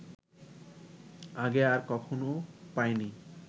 আগে আর কখনো পায়নি